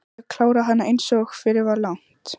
Ég kláraði hana einsog fyrir var lagt.